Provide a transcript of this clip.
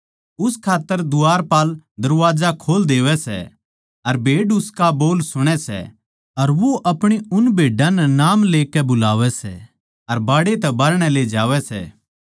उस खात्तर द्वारपाल दरबाजा खोल देवै सै अर भेड़ उसका बोल सुणै सै अर वो अपणी उन भेड्डां के नाम ले लेकै बुलावै सै अर बाड़ा तै बाहरणै ले जावै सै